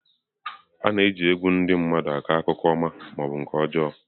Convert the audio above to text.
A na-eji egwu ndị mmadụ akọ akụkọ ọma ma ọ bụ nke ọjọọ.